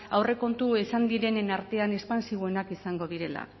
aurrekontu izan direnen artean espantsiboenak izango direla